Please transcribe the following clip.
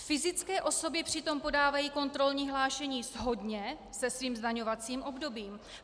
Fyzické osoby přitom podávají kontrolní hlášení shodně se svým zdaňovacím obdobím.